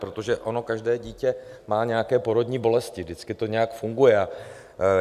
Protože ono každé dítě má nějaké porodní bolesti, vždycky to nějak funguje.